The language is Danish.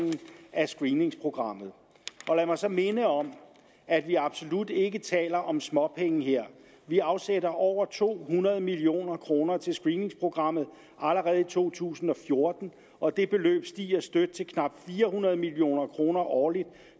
af screeningsprogrammet lad mig så minde om at vi absolut ikke taler om småpenge her vi afsætter over to hundrede million kroner til screeningsprogrammet allerede i to tusind og fjorten og det beløb stiger støt til knap fire hundrede million kroner årligt